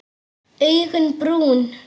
Augun brún.